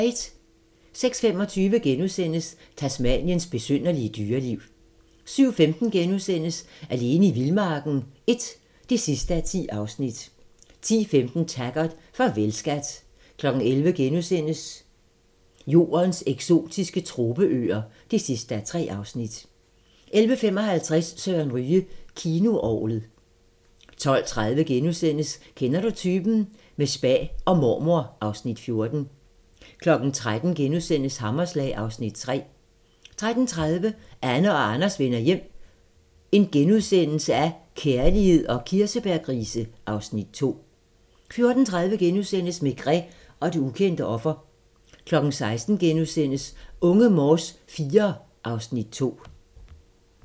06:25: Tasmaniens besynderlige dyreliv * 07:15: Alene i vildmarken I (10:10)* 10:15: Taggart: Farvel, skat 11:00: Jordens eksotiske tropeøer (3:3)* 11:55: Søren Ryge: Kinoorglet 12:30: Kender du typen? - med spa og mormor (Afs. 14)* 13:00: Hammerslag (Afs. 3)* 13:30: Anne og Anders vender hjem - kærlighed og kirsebærgrise (Afs. 2)* 14:30: Maigret og det ukendte offer * 16:00: Unge Morse IV (Afs. 2)*